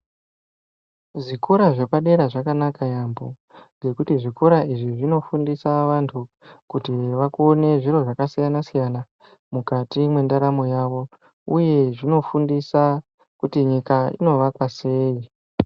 Kuzvikora zvepadera zvakanaka yambo, ngekuti zvikora izvi zvinofundisa vantu kuti vakone zviro zvakasiyana-siyana mukati mwendaramo yavo ,uye zvinofundisa kuti nyika inovakwa sei?